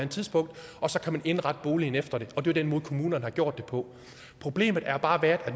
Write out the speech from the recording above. tidspunkt og så kan man indrette boligen efter det og det er den måde kommunerne har gjort det på problemet er bare at